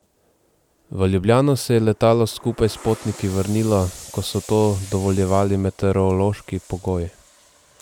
V Ljubljano se je letalo skupaj s potniki vrnilo, ko so to dovoljevali meteorološki pogoji.